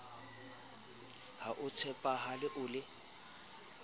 ha o tshepahale o le